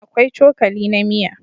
Akwai cokali na miya